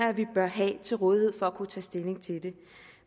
at vi bør have til rådighed for at kunne tage stilling til det